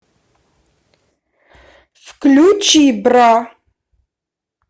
включи бра